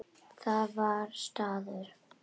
Það var staður.